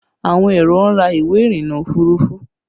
Àwọn èrò ń ra ìwé irinna òfurufú